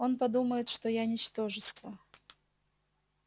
он подумает что я ничтожество